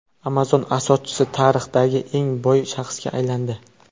Amazon asoschisi tarixdagi eng boy shaxsga aylandi.